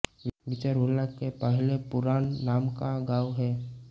चिरहूला के पहले पुरान नाम का गांव है